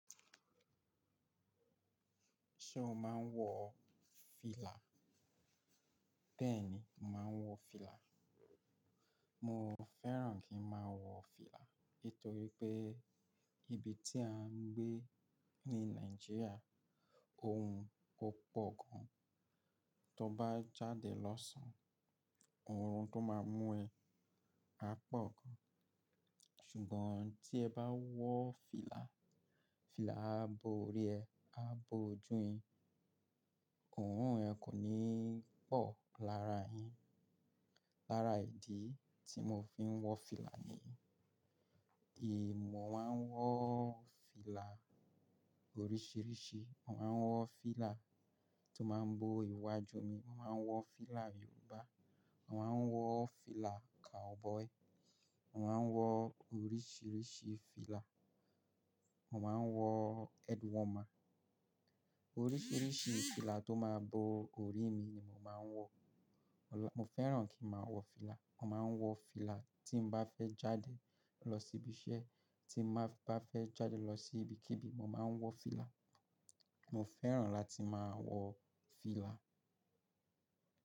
Ṣé o máa ń wọ fìlà? Bẹ́ẹ̀ni, mò maa ń wọ fìlà. Mo fẹ́ràn kí n máa wọ fìlà nítorí pé ibi tí à ń gbé ní Nàìjíríà, ohun ó pọ̀ gan tó bá jáde lọ̀sán, òórùn tó máa mú ẹ á pọ̀ gan. Ṣùgbọ́n tí ẹ bá wọ fìlà, fìlà á bo orí ẹ, á bo ojú yin, òórùn ẹ kò ní pọ̀ lára yín. Lára ìdí tí mò ń fi wọ fìlà ni yìí. Mọ̀ máa ń wọ́ fìlà oríṣìíríṣìí. Mo máa ń wọ fìlà tó máa ń bo iwájú mi, mò máa ń wọ fìlà Yorùbá, mò máa ń wọ fìlà cowboy, mò máa ń wọ oríṣìíríṣìí fìlà, mò máa ń wọ head warmer. Oríṣìíríṣìí fìlà tó máa bo orí mi ni mò máa ń wọ. Mo fẹ́ràn kí n máa wọ fìlà. Mo máa ń wọ fìlà tí n bá fẹ́ jáde lọ síbi iṣẹ́, tí n bá fẹ́ jáde lọ sí ibikíbi, mò máa ń wọ fìlà. Mo fẹ́ràn láti máa wọ fìlà.